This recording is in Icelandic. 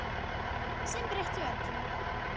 Sem breytti öllu.